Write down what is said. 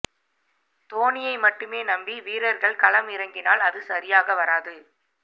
தோனியை மட்டுமே நம்பி வீரர்கள் களம் இறங்கினால் அது சரியாக வராது